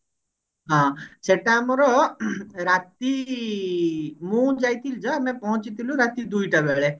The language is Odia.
ହଁ ସେଟା ଆମର ରାତି ମୁଁ ଯାଇଥିଲି ଯୋଉ ଆମେ ପହଞ୍ଚି ଥିଲୁ ରାତି ଦୁଇଟା ବେଳେ